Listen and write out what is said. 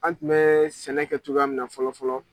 An tun bɛ sɛnɛ kɛ cogoya min na fɔlɔ fɔlɔ